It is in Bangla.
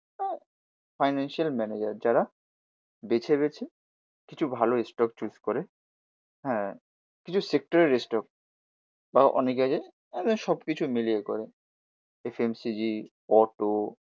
ফাইনান্সিয়াল ম্যানেজার যারা বেছে বেছে কিছু ভালো স্টক চুস করে। হ্যা কিছু সেক্টরের স্টক বা অনেকে আছে মানে সব কিছু মিলিয়ে করে F N C G, auto